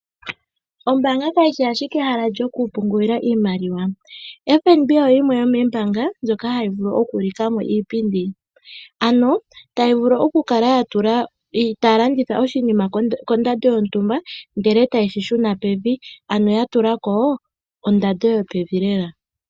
Ombaanga kayishi ashike ehala lyokupungulila iimaliwa. FNB oyo yimwe yomoombanga ndjoka hayi vulu okutula mo iipindi, ano tayi vulu okukala taya landitha oshinima kondando yontumba, ndele e taye shi shuna pevi, ano ya tula ko ondando yopevi lela.